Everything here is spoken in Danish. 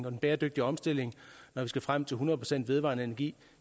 og bæredygtige omstilling når vi skal frem til hundrede procent vedvarende energi